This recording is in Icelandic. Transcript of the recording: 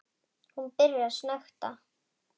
Hún byrjar að snökta.